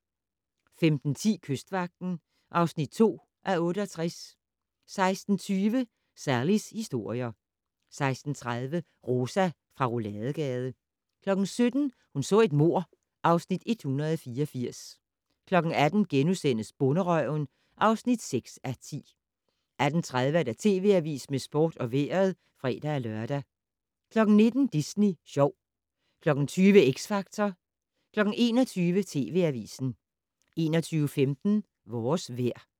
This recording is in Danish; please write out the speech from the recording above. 15:10: Kystvagten (2:68) 16:20: Sallies historier 16:30: Rosa fra Rouladegade 17:00: Hun så et mord (Afs. 184) 18:00: Bonderøven (6:10)* 18:30: TV Avisen med sport og vejret (fre-lør) 19:00: Disney Sjov 20:00: X Factor 21:00: TV Avisen 21:15: Vores vejr